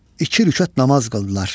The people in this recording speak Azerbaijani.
İki rükət namaz qıldılar.